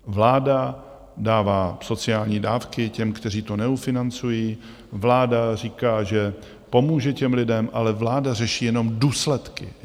Vláda dává sociální dávky těm, kteří to neufinancují, vláda říká, že pomůže těm lidem, ale vláda řeší jenom důsledky.